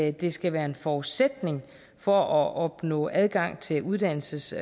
at det skal være en forudsætning for at opnå adgang til uddannelses